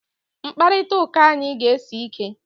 Mkparịta ụka anyị ga-esi ike!